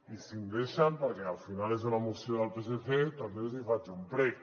i si em deixen perquè al final és una moció del psc també els hi faig un prec